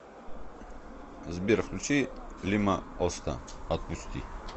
сбер включи лима оста отпусти